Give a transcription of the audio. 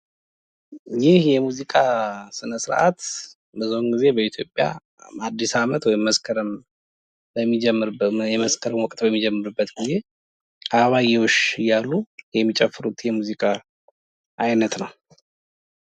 ይህ የሙዚቃ ስነ-ስርዓት ብዙን ጊዜ በኢትዮጵያ አዲስ አመት ወይም መሰከረም በሚጀምርበት ወቅት ወይም በመስቀል ወቅት በሚጀመርበት ግዜ አበባአየሁሽ እያሉ የሚጨፍሩት የሙዚቃ አይነት ነው።